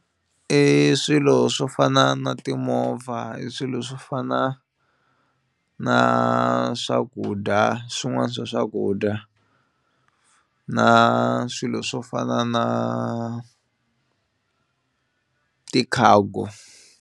I swilo swo fana na timovha i swilo swo fana na swakudya swin'wana swa swakudya na swilo swo fana na ti-cargo.